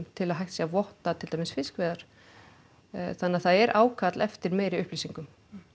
til að hægt sé að votta til dæmis fiskveiðar þannig að það er ákall eftir meiri upplýsingum